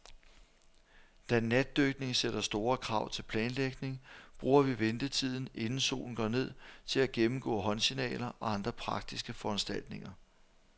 Da natdykning sætter store krav til planlægning, bruger vi ventetiden, inden solen går ned, til at gennemgå håndsignaler og andre praktiske foranstaltninger.